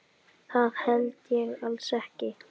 Það held ég alls ekki.